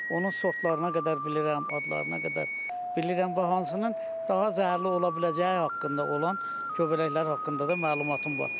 Onun sortlarına qədər bilirəm, adlarına qədər bilirəm və hansının daha zəhərli ola biləcəyi haqqında olan göbələklər haqqında da məlumatım var.